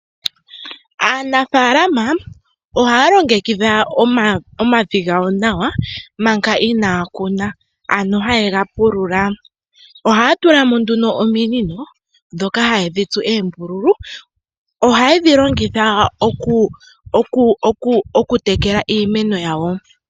Aanafaalama ohaya longekidha omavi gawo nawa manga inaya kuna, ano haye ga pulula. Ohaya tula mo nduno ominino ndhoka haye dhi tsu oombululu. Ohaye dhi longitha okutekela iimeno yawo.